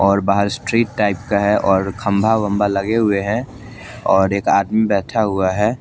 और बहार street type का है और खम्बा वम्बा लगे हुए है और एक आदमी बैठा हुआ है।